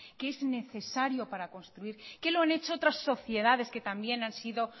que es necesario para construir que lo han hecho otras sociedades que también han sido